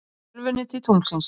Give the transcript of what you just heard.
Með tölvunni til tunglsins